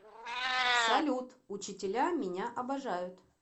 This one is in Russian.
салют учителя меня обожают